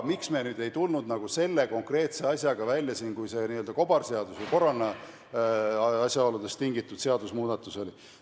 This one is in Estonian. Miks me aga ei tulnud nüüd välja selle konkreetse asjaga, kui see n-ö kobarseaduse korrana asjaoludest tingitud seadusemuudatus oli?